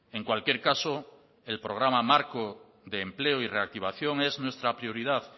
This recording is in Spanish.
en cualquier caso el programa marco de empleo y reactivación es nuestra prioridad